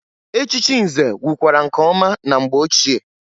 Echichi nze wukwara nke ọma na mgbe ochie.